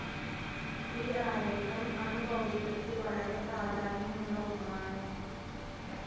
ഈ ആരേഖം അണു ഭൗതികത്തിൽ വളരെ പ്രാധാന്യമുള്ള ഒന്നാണ്.